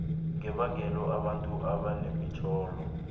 ngebangelo abantu abanamatshwayo